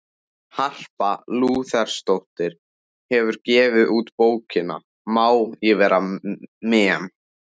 Harpa Lúthersdóttir hefur gefið út bókina Má ég vera memm?